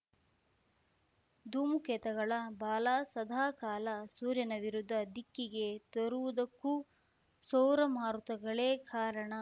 ಧೂಮಕೇತುಗಳ ಬಾಲ ಸದಾಕಾಲ ಸೂರ್ಯನ ವಿರುದ್ಧ ದಿಕ್ಕಿಗೇ ತೋರುವುದಕ್ಕೂ ಸೌರಮಾರುತಗಳೇ ಕಾರಣ